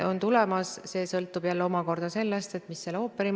Euroopa Liidus on kaubandusreeglite aluseks Maailma Kaubandusorganisatsiooni ehk WTO lepingud.